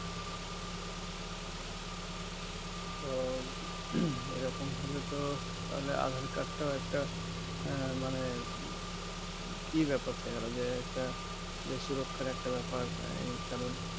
তো এইরকম হলে তো তাহলে aadhar card টাও একটা আঃ মানে কি ব্যাপার থেকে গেলো তাহলে একটা সুরক্ষার একটা ব্যাপার এই কারণ